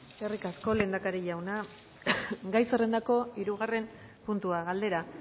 eskerrik asko lehendakari jauna gai zerrendako hirugarren puntua galdera